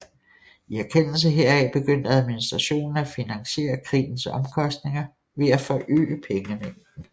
I erkendelse heraf begyndte administrationen at finansiere krigens omkostninger ved at forøge pengemængden